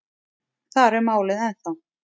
Þar er málið ennþá.